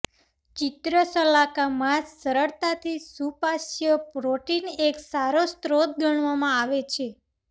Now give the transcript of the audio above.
ચિત્રશલાકા માંસ સરળતાથી સુપાચ્ય પ્રોટીન એક સારો સ્રોત ગણવામાં આવે છે